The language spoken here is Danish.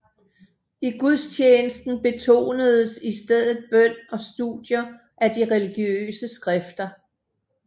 I gudstjenesten betonedes i stedet bøn og studier af de religiøse skrifter